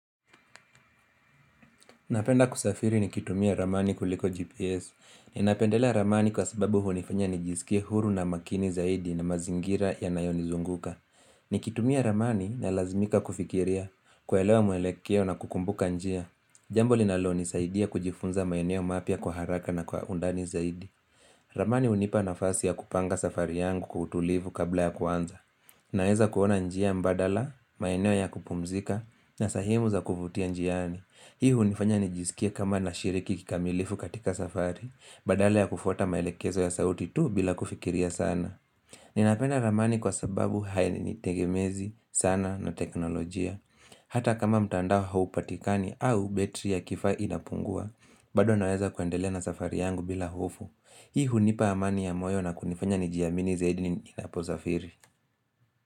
Napenda kusafiri nikitumia ramani kuliko GPS. Ninapendelea ramani kwa sababu hunifanya nijisike huru na makini zaidi na mazingira yanayonizunguka. Nikitumia ramani nalazmika kufikiria, kuelewa mwelekeo na kukumbuka njia. Jambo linalonisaidia kujifunza maeneo mapya kwa haraka na kwa undani zaidi. Ramani hunipa nafasi ya kupanga safari yangu kwa utulivu kabla ya kuanza. Naeza kuona njia mbadala, maeneo ya kupumzika, na sehemu za kuvutia njiani. Hii hunifanya nijisikie kama nashiriki kikamilifu katika safari badala ya kufuata maelekezo ya sauti tu bila kufikiria sana Ninapenda ramani kwa sababu hainitegemezi sana na teknolojia Hata kama mtandao haupatikani au betri ya kifaa inapungua bado naweza kuendelea na safari yangu bila hofu Hii hunipa amani ya moyo na kunifanya nijiamini zaidi ninaposafiri.